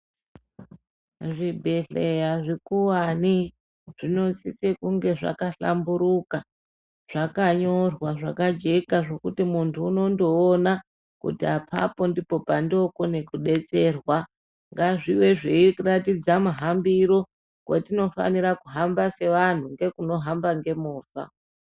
Zvibhedhleya zvikuwani zvinosisa kunge zvakahlamburuka zvakanyorwa zvakanaka kuti muntu kundoona kuti apapo ndipo pandinokone kudetserwa. Ngazvive zveiratidze mahambiro, kwetinofanira kuhamba seanhu ngekunohamba ngemovha.